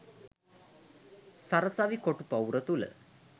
සරසවි කොටු පවුර තුළ